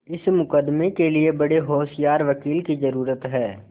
इस मुकदमें के लिए बड़े होशियार वकील की जरुरत है